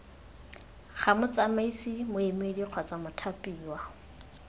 ga motsamaisi moemedi kgotsa mothapiwa